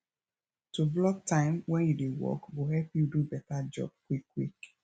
to block time wen you dey work go help you do beta job quickquick